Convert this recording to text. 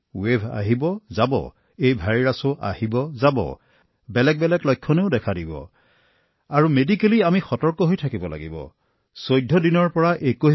ঢৌ আহে আৰু যায় আৰু এই ভাইৰাছবোৰো আহি থাকে আৰু গৈ থাকে সেয়েহে ভিন্ন ভিন্ন লক্ষণে দেখা দিছে আৰু চিকিৎসাগতভাৱে আমি সাৱধান হোৱা উচিত